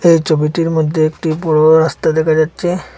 এই ছবিটির মধ্যে একটি বড়ো রাস্তা দেখা যাচ্ছে।